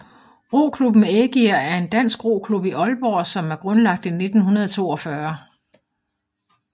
Roklubben Ægir er en dansk roklub i Aalborg som er grundlagt i 1942